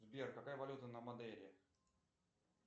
сбер какая валюта на мадейре